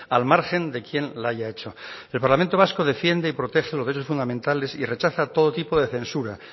al margen de quién la haya hecho el parlamento vasco defiende y protege los derechos fundamentales y rechaza todo tipo de censura